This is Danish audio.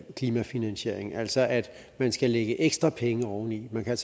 klimafinansiering altså at man skal lægge ekstra penge oveni man kan